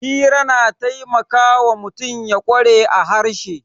Hira na taimakawa mutum ya kware a harshe